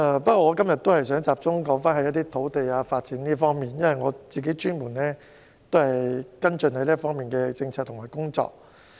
不過，我今天想集中談談土地發展，因為我專門跟進這方面的政策和工作。